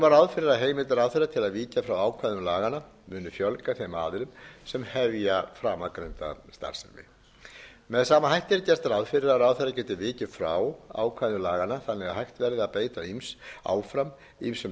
að heimild ráðherra til að víkja frá ákvæðum laganna muni fjölga þeim aðilum sem hefja framangreinda starfsemi með sama hætti er gert ráð fyrir að ráðherra geti vikið frá ákvæðum laganna þannig að hægt verði að beita